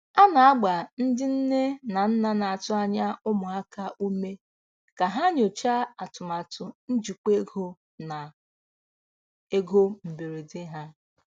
A na-agba ndị nne na nna na-atụ anya ụmụaka ume ka ha nyochaa atụmatụ njikwa ego na ego mberede ha.